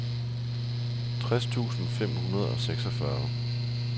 tres tusind fem hundrede og seksogfyrre